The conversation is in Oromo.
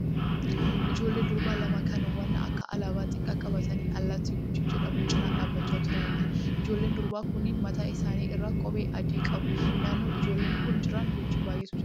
Ijoollee durbaa lama kan waan akka alaabaa xiqqaa qabatanii allaattii Guchii jedhamu cina dhaabbachaa jiraniidha. Ijoolleen durbaa kunneen mataa isaanii irraa kephee adii qabu. Naannoo ijoolleen kun jiran Guchii baay'eetu jira.